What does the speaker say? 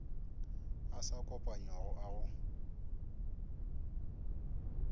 a sa kopanywago a go